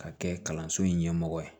Ka kɛ kalanso in ɲɛmɔgɔ ye